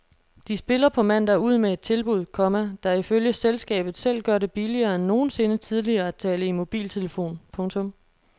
De spiller på mandag ud med et tilbud, komma der ifølge selskabet selv gør det billigere end nogensinde tidligere at tale i mobiltelefon. punktum